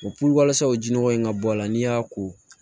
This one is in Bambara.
O walasa o jinɔgɔ in ka bɔ a la n'i y'a ko